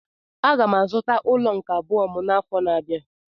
M ga-azụta ụlọ nke abụọ m n'afọ na-abịa.